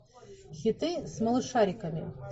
хиты с малышариками